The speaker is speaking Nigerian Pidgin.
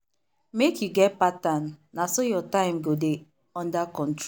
make you get pattern na so your time go dey under